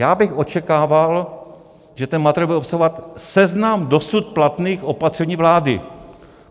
Já bych očekával, že ten materiál bude obsahovat seznam dosud platných opatření vlády.